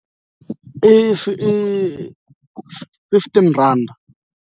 i fifteen rhanda.